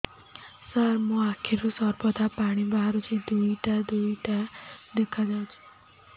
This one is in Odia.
ସାର ମୋ ଆଖିରୁ ସର୍ବଦା ପାଣି ବାହାରୁଛି ଦୁଇଟା ଦୁଇଟା ଦେଖାଯାଉଛି